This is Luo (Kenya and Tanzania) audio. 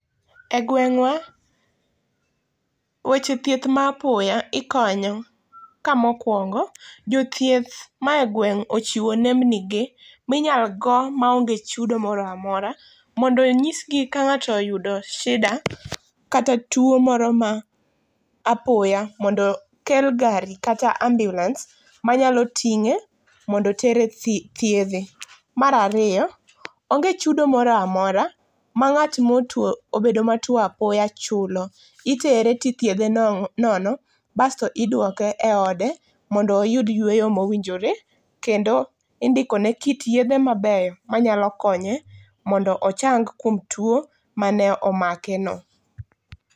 E gwengwa, weche thieth mapoya ikonyo ka mokuongo jothieth mae gweng ochiwo nembni ge minyal go maonge chudo moro amora mondo onyisgi ka ngato oyudo shida kata tuo moro ma apoya mondo okel gari kata ambulance manyalo tinge mondo tere thiedhe. Mar ariyo onge chudo moro amora ma ngat motuo, mobedo matuo apoya chulo, itere tithedhe nono basto iduoke eode mondo oyud yweyo mowinjore kendo indikone kit yedhe maber mondo ochang kod kit tuo mane omakeno